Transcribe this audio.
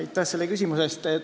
Aitäh selle küsimuse eest!